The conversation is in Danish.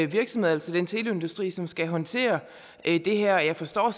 virksomheder altså den teleindustri som skal håndtere det her jeg forstår